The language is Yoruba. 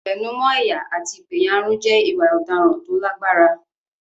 Ìwẹ̀nùmọ́ ẹ̀yà àti ìpẹ̀yàrun jẹ́ ìwà ọ̀daràn tó lágbára.